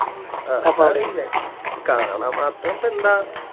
ആ കാണാൻ മാതൃപ്പോ എന്താ